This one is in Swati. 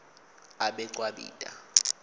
abecwabita